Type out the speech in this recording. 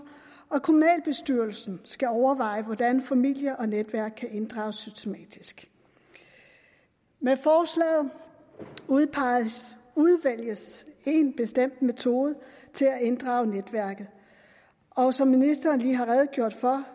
og kommunalbestyrelsen skal overveje hvordan familie og netværk kan inddrages systematisk med forslaget udvælges én bestemt metode til at inddrage netværket og som ministeren lige har redegjort for